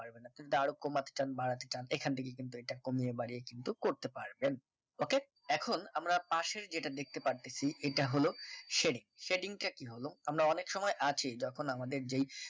এখান থেকে কিন্তু এটা কিন্তু কমিয়ে বাড়িয়ে কিন্তু করতে পারেবেন okay এখন আমরা পাশের যেটা দেখতে পারতেছি এটা হলো সেড়ে setting টা কি হলো আমরা অনেক সময় আছি যখন আমাদের যেই